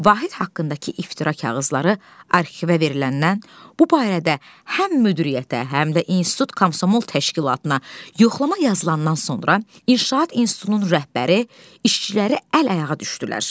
Vahid haqqındakı iftira kağızları arxivə veriləndən bu barədə həm müdiriyyətə, həm də institut Komsomol təşkilatına yoxlama yazılandan sonra inşaat institutunun rəhbəri işçiləri əl-ayağa düşdülər.